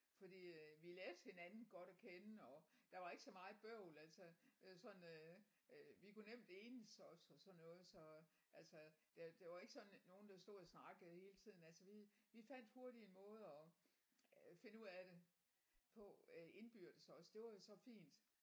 Fordi øh vi lærte hinanden godt at kende og der var ikke så meget bøvl altså øh sådan øh øh vi kunne nemt enes også og sådan noget så altså det det var ikke sådan nogen der stod og snakkede hele tiden altså vi vi fandt hurtigt en måde at øh finde ud af det på øh indbyrdes også det var jo så fint